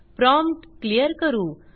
prompt clear करू